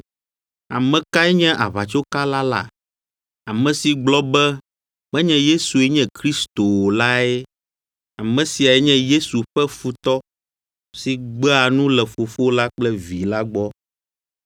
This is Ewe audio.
Ame kae nye aʋatsokala la? Ame si gblɔ be menye Yesue nye Kristo o lae. Ame siae nye Yesu ƒe futɔ si gbea nu le Fofo la kple Vi la gbɔ.